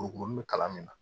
Wopon be kalan min na